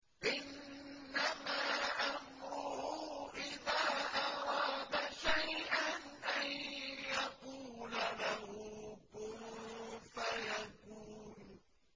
إِنَّمَا أَمْرُهُ إِذَا أَرَادَ شَيْئًا أَن يَقُولَ لَهُ كُن فَيَكُونُ